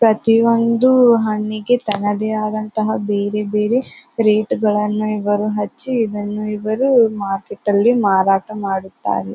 ಪ್ರತೋಯೊಂದು ಹಣ್ಣಿಗೆ ತನ್ನದೇ ಆದಂತಹ ಬೇರೆ ಬೇರೆ ರೇಟ್ ಗಳನ್ನೂ ಇವರು ಹಚ್ಚಿ ಇದನ್ನ ಇವರು ಮಾರ್ಕೆಟ್ ಅಲ್ಲಿ ಮಾರಾಟ ಮಾಡುತ್ತಾರೆ.